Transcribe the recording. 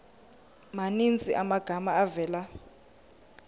maninzi amagama avela